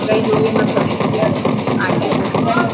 कई लोग यहाँ खड़े हुए है| आगे रोड है।